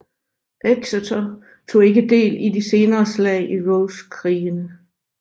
Exeter tog ikke del i de senere slag i Rosekrigene